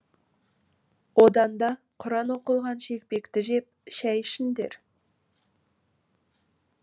одан да құран оқылған шелпекті жеп шәй ішіңдер